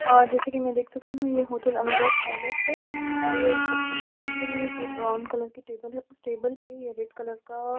और जैसे कि मैं देख सकती हूं यह होटल अनुराग पैलेस है और रिसेप्शन का काउंटर है जो ब्राउन कलर के टेबल है उस टेबल पे रेड कलर का--